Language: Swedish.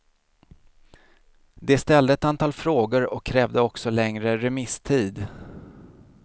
De ställde ett antal frågor och krävde också längre remisstid.